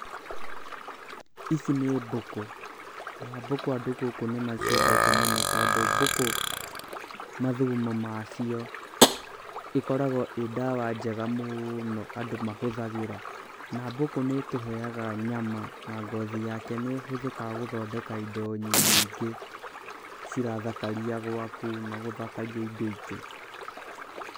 Ici nĩ mbũkũ ,na mbũkũ andũ gũkũ nĩ maciendete mũno, tondũ mbũkũ mathugumo macio ĩkoragwo ĩ ndawa njega mũno andũ mahũthagĩra, na mbũkũ nĩ ĩtũheaga nyama na ngothi yake nĩ ĩhũthĩkaga gũthondeka indo nyingĩ cirathakaria gwaku na gũthakaria indo ingĩ.